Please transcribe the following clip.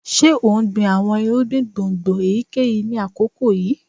Ṣe o n gbin awọn irugbin gbongbo eyikeyi ni akoko yii?